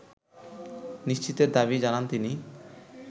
নিশ্চিতের দাবি জানান তিনি